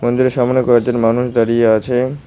মন্দিরের সামনে কয়েকজন মানুষ দাঁড়িয়ে আছে।